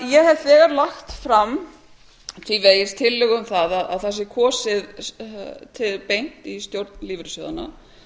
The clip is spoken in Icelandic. ég hef þegar lagt fram tillögu um að það sé kosið beint í stjórn lífeyrissjóðanna